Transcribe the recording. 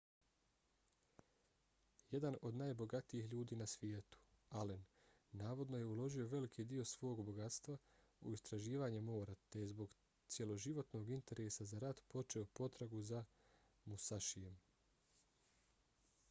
jedan od najbogatijih ljudi na svijetu allen navodno je uložio veliki dio svog bogatstva u istraživanje mora te je zbog cjeloživotnog interesa za rat počeo potragu za musašijem